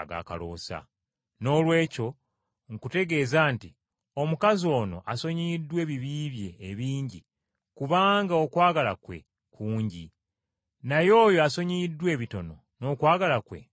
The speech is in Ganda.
Noolwekyo nkutegeeza nti omukazi ono asonyiyiddwa ebibi bye ebingi kubanga okwagala kwe kungi, naye oyo asonyiyibwa ebitono n’okwagala kwe kuba kutono.”